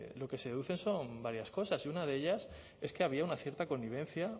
lo que se deducen son varias cosas y una de ellas es que había una cierta connivencia